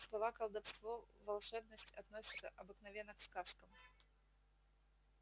слова колдовство волшебность относятся обыкновенно к сказкам